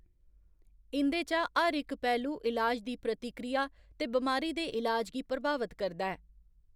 इं'दे चा हर इक पैह्‌‌लू इलाज दी प्रतिक्रिया ते बमारी दे ईलाज गी प्रभावत करदा ऐ।